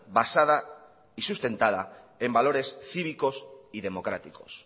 basada y sustentada en valores cívicos y democráticos